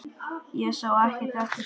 Ég sá ekki eftir því.